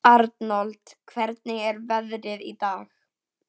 Arnold, hvernig er veðrið í dag?